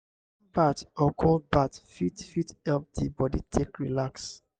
warm bath or cold bath fit fit help di body take relax